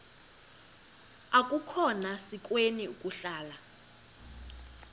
akukhona sikweni ukuhlala